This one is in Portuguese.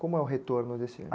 Como é o retorno desse ano?